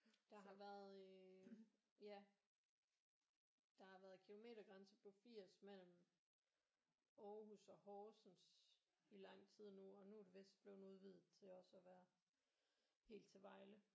Der har været øh ja der har været kilometergrænser på 80 mellem Aarhus og Horsens i lang tid nu og nu er det vidst blevet udvidet til også at være helt til Vejle